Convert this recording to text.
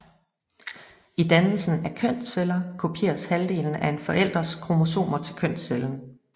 I dannelsen af kønsceller kopieres halvdelen af en forælders kromosomer til kønscellen